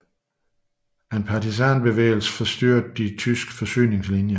En partisanbevægelse forstyrrede de tyske forsyningslinjer